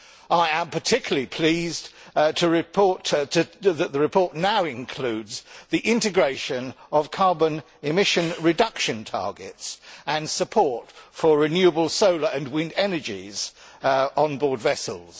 I am particularly pleased that the report now includes the integration of carbon emission reduction targets and support for renewable solar and wind energies on board vessels.